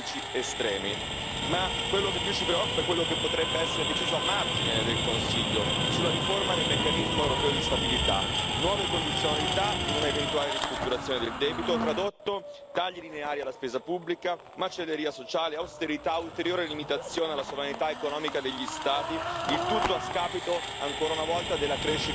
Ma quello che più ci preoccupa è quello che potrebbe essere deciso, a margine del Consiglio, sulla riforma del meccanismo europeo di stabilità nuove condizionalità per un'eventuale ristrutturazione del debito, che tradotto significa tagli lineari alla spesa pubblica, macelleria sociale, austerità e ulteriore limitazione alla sovranità economica degli Stati, il tutto a scapito, ancora una volta, della crescita economica.